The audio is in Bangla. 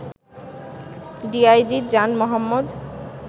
ডিআইজি জান মোহাম্মদ